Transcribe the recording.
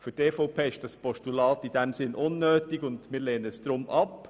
Für die EVP ist das Postulat unnötig und wir lehnen es darum ab.